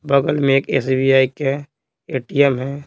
बगल में एक एसबीआई के एटीएम है।